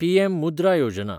PM Mudra Yojana